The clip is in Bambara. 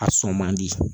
A sɔn man di